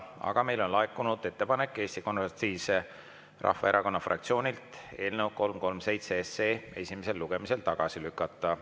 Aga meile on laekunud ettepanek Eesti Konservatiivse Rahvaerakonna fraktsioonilt eelnõu 337 esimesel lugemisel tagasi lükata.